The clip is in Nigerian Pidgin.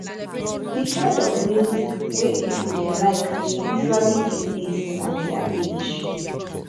di kind of music wey pipo dey like dey usually dey based on their age